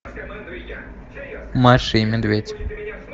маша и медведь